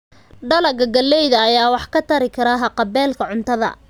Dalagga galleyda ayaa wax ka tari kara haqab-beelka cuntada.